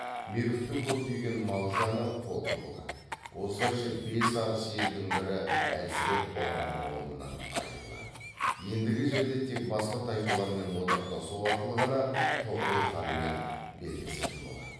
меркіттің көптеген мал жаны қолды болады осылайша бес арыс елдің бірі әлсіреп бұрынғы орнынан айырылады ендігі жерде тек басқа тайпалармен одақтасу арқылы ғана тұғырыл ханмен белдесетін болады